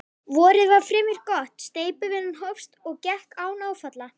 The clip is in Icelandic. Vorið varð fremur gott, steypuvinnan hófst og gekk án áfalla.